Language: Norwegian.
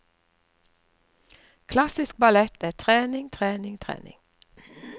Klassisk ballett er trening, trening, trening.